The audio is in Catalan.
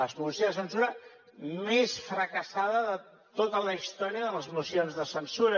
la moció de censura més fracassada de tota la història de les mocions de censura